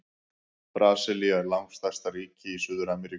Brasilía er langstærsta ríki í Suður-Ameríku.